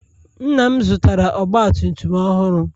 Nna'm zụtara ọgba tum tum ọhụrụ.